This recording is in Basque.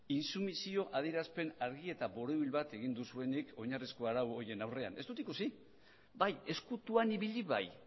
intsumisio adierazpen argi eta borobil bat egin duzuenik oinarrizko arau horien aurrean ez dut ikusi bai ezkutuan ibili bai